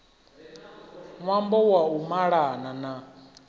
ṅwambo wa u malana na